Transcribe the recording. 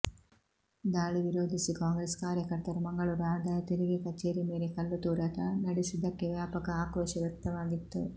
ದಾಳಿ ವಿರೋಧಿಸಿ ಕಾಂಗ್ರೆಸ್ ಕಾರ್ಯಕರ್ತರು ಮಂಗಳೂರು ಆದಾಯ ತೆರಿಗೆ ಕಚೇರಿ ಮೇಲೆ ಕಲ್ಲುತೂರಾಟ ನಡೆಸಿದ್ದಕ್ಕೆ ವ್ಯಾಪಕ ಆಕ್ರೋಶ ವ್ಯಕ್ತವಾಗಿತ್ತು